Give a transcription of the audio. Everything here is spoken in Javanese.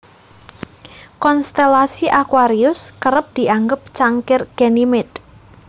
Konstelasi aquarius kerep dianggep cangkir Ganymede